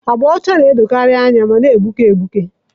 Agba ọcha na-edokarị anya ma na-egbuke egbuke.